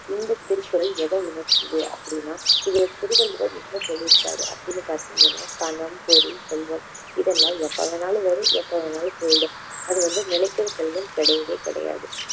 இந்த திருக்குறள் எதை உணர்த்துது அப்படின்னா இதுல திருவள்ளுவர் என்ன சொல்லிருக்காரு அப்படின்னு பார்த்தீங்கன்னா பணம், பொருள், செல்வம் இதெல்லாம் எப்போ வேணும்னாலும் வரும் எப்போ வேணும்னாலும் போயிடும் அது வந்து நிலைக்கிற செல்வம் கிடையவே கிடையாது